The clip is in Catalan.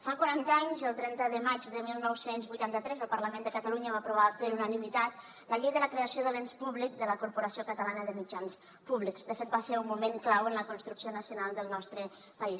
fa quaranta anys el trenta de maig de dinou vuitanta tres el parlament de catalunya va aprovar per unanimitat la llei de la creació de l’ens públic de la corporació catalana de mitjans públics de fet va ser un moment clau en la construcció nacional del nostre país